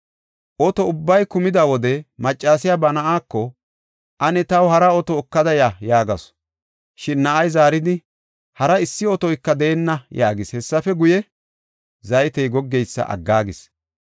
Oto ubbay kumida wode, maccasiya ba na7aako, “Ane taw hara oto ekada ya” yaagasu. Shin na7ay zaaridi, “Hari issi otoyka deenna” yaagis. Hessafe guye, zaytey goggeysa aggaagis.